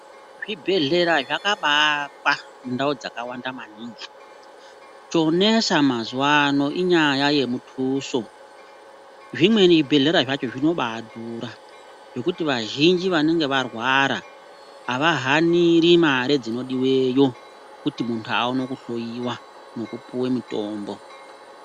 Zvi bhedhlera zvakabai akwa ndau dzaka wanda maningi chonesa mazuva ano inyaya ye mutuso zvimweni zvi bhedhlera zvacho zvinobai dhura ngekuti vazhinji vanenge varwara ava haniri mare dzino diweyo kuti muntu awone ku hloyiwa ngeku puwe mutombo.